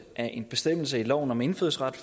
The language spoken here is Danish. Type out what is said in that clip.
af en bestemmelse i loven om indfødsret